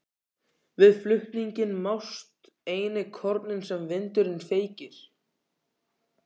Við flutninginn mást einnig kornin sem vindurinn feykir.